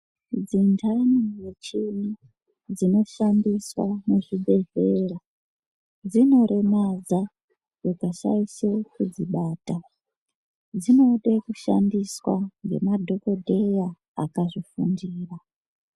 Dzindani mishini dzinoshandiswa muzvibhedhlera dzinoremadza ukashaishe kudzibata, dzinode kushandiswa ngemadhokodheya akazvifundira.